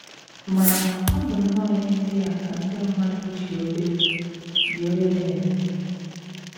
Ma, ọ bụ nnọọ ihe ndị a ka ndị mmadụ ji obe ji obe na - eme!